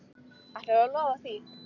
Ætlarðu að lofa því?